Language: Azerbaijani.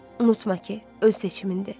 Unutma ki, öz seçimindir.